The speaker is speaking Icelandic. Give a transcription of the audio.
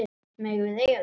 Megum við eiga það?